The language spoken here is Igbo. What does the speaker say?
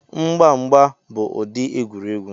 Mgba mgba bụ ụdị egwuregwu